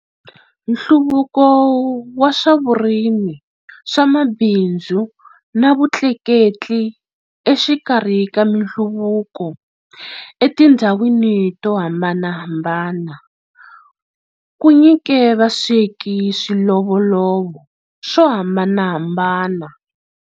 Nhluvuko wa swa vurimi, swa mabindzu, na vutleketli exikarhi ka minhluvuko e tindzhawini tohambanahambana ku nyike vasweki swilovolovo swo hambanahambana.